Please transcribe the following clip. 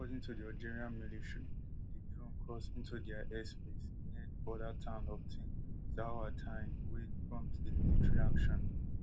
according to di algerian military di drone cross into dia airspace near di border town of tin zaouatine wey prompt di military action